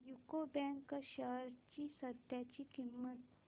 UCO bank shares ची सध्याची किंमत